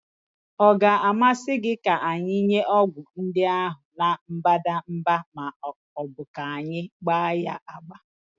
Ọ ga-amasị gị ka anyị nye ọgwụ ndị ahụ na mbadamba ma ọ bụ ka anyị gba ya agba?